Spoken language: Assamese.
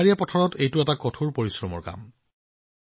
পাহাৰীয়া এলেকাত এইটো এটা কঠোৰ পৰিশ্ৰমৰ আৰু কঠিন কাম